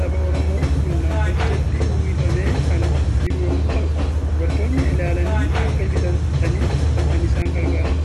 saba Oromoo kun nam-tolcheetti uwwifamee kan jiru yommuu ta'u, dubartoonni ilaalanii akka bitataniif kan isaan gargaarudha.